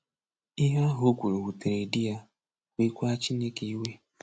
Ihe ahụ o kwuru wutere di ya, weekwa Chineke iwe.